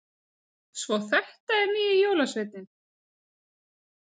Svo þetta er nýji jólasveininn!